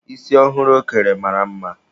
Isi ọhụrụ ọ kere mara mma.